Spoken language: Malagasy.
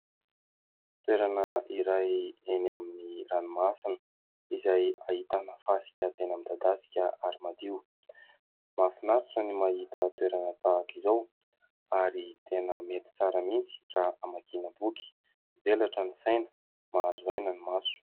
Toerana iray eny amin'ny ranomasina, izay hahitana fasika tena midadasika ary madio, mafinaritra ny mahita toerana tahaka izao, ary tena mety tsara mintsy raha hamakina boky, mivelatra ny saina, mahazo aina ny maso.